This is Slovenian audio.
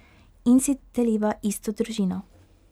In si deliva isto družino.